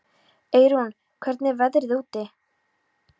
Eyrún, hvernig er veðrið úti?